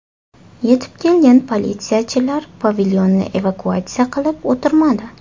Yetib kelgan politsiyachilar pavilyonni evakuatsiya qilib o‘tirmadi.